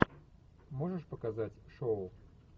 можешь показать шоу